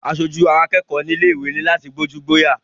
Asojú àwọn akẹ́kọ̀ọ́ nílé ìwé ní láti gbójú-gbóyà.